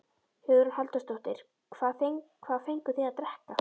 Hugrún Halldórsdóttir: Hvað fenguð þið að drekka?